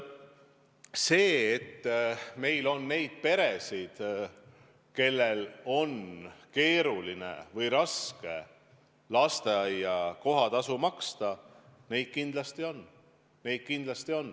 See, et meil on neid peresid, kellel on keeruline või raske lasteaia kohatasu maksta, on kindlasti õige.